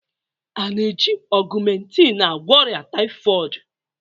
A na-eji augmentin agwọ ọrịa tpyhoid?